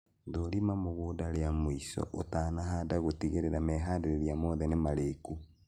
Thũrima mũgũnda ria mũico ũtanahanda gũtigĩrĩra meharĩria mothe nĩ marĩku